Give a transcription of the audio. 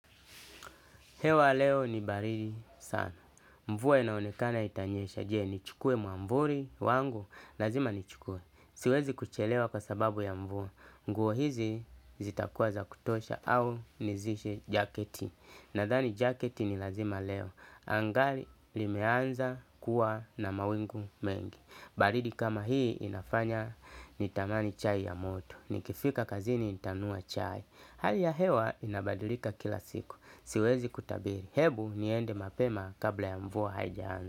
Hewa leo ni baridi sana. Mvua inaonekana itanyesha. Je, nichukue mwamvuli wangu, lazima nichukue. Siwezi kuchelewa kwa sababu ya mvuwa. Nguo hizi zitakuwa za kutosha au nizishe jaketi. Nadhani jaketi ni lazima leo. Anga limeanza kuwa na mawingu mengi. Baridi kama hii inafanya nitamani chai ya moto. Nikifika kazini nitanunua chai. Hali ya hewa inabadulika kila siku. Siwezi kutabiri, hebu niende mapema kabla ya mvua hajaanza.